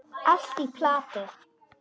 Allt í plati.